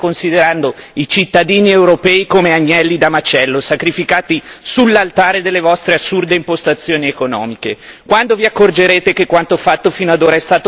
Ne vorrei fare uno anch'io quindi, dicendo che voi state considerando i cittadini europei come agnelli da macello, sacrificati sull'altare delle vostre assurde impostazioni economiche.